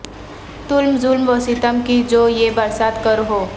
تم ظلم و ستم کی جو یہ برسات کرو ہو